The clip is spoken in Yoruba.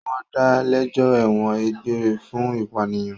Wọ́n da lẹ́jọ́ ẹ̀wọ̀n egbére fún ìpànìyàn.